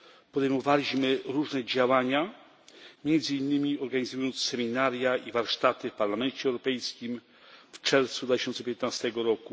Podejmowaliśmy też różne działania, między innymi organizując seminaria i warsztaty w Parlamencie Europejskim w czerwcu 2015 r.